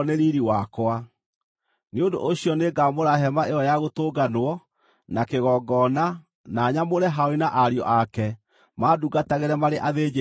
“Nĩ ũndũ ũcio nĩngamũra Hema-ĩyo-ya-Gũtũnganwo na kĩgongona na nyamũre Harũni na ariũ ake mandungatagĩre marĩ athĩnjĩri-Ngai.